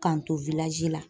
K'an to la